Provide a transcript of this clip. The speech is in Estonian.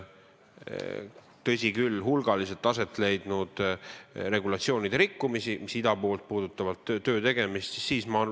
Tõsi küll, hulgaliselt on rikutud regulatsioone, mis puudutavad ida poolt tulnud inimeste töötegemist.